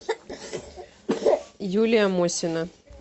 юлия мосина